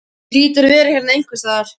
Hún hlýtur að vera hérna einhvers staðar.